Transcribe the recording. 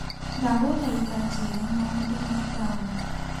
Ndagũthaitha njĩra maũndũ ma taũni .